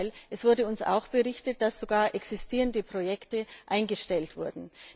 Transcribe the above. Im Gegenteil, es wurde uns berichtet, dass sogar existierende Projekte eingestellt wurden.